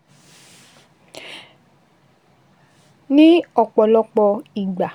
Ní ọ̀pọ̀lọpọ̀ ìgbà,